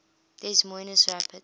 des moines rapids